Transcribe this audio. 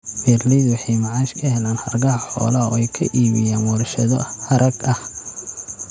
Beeralaydu waxay macaash ka helaan hargaha xoolaha oo ay ka iibiyaan warshado harag ah.